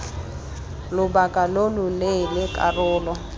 lobaka lo lo leele karolo